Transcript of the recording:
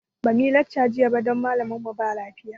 Ba muyi lacca jiya ba don malamin mu ba lafiya